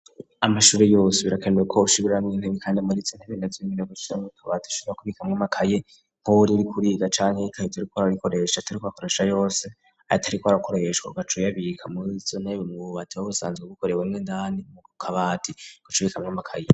amashuri yose birakenewe ko ushibiran intebi kandi ama ritsontabindatzimira guchira nutobat ishibra kubika mw' amakaye pobuli ri kuriga cani y'ikahito ari ko ararikoresha atariko akarasha yose ayitariko arakoreshwa gacuryabiyika muritsonteb mu bubati bobusanzwe gukore bmwe ndani mu kkabari gucubika mw'amakaye